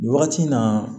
Nin wagati in na